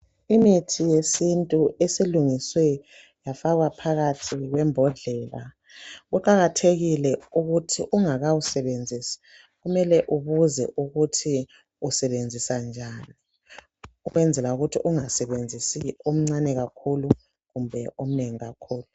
Imithi yesintu esilungiswe yafakwa phakathi kwembodlela. Kuqakathekile ukuthi ungakawusebenzisi, kumele ubuze ukuthi usebenzisa njani. Ukwenzela ukuthi ungasebenzisi omncane kakhulu kumbe omnengi kakhulu.